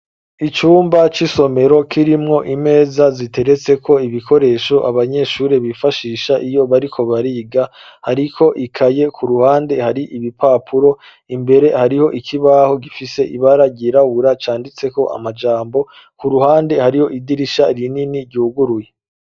Icumba c'isomero k'irimwo imeza ziteretse ko ibikoresho abanyeshuri bifashisha iyo bariko bariga hariko ikaye ku ruhande hari ibipapuro imbere hariho ikibaho gifise ibara girawura canditseko amajambo ku ruhande hariho idirisha rinini ryuguruye.